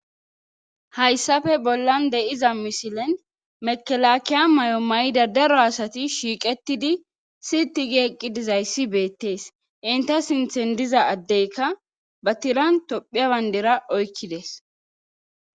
hayssafe bollan de7iza misilen mekelakiya may7o may7ida daro asati shiiqetidi siti gieqqi dizayssi beettees inta sinthen diza addeyka ba tiran tophiabandera oykkides